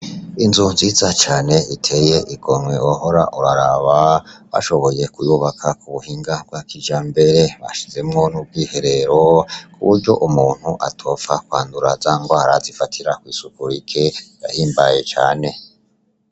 Inzu nziza cane iteye igomwe wohora uraraba bashoboye kuyubaka mu buhinga bwa kijambere bashizemwo n'ubwihorero kuburyo umuntu atopfa kwandura zangwara zifatira kwisuku rike barahimbaye cane.